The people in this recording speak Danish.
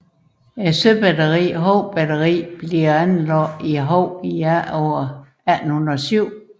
Søbatteriet Hou Batteri bliver anlagt i Hou i efteråret 1807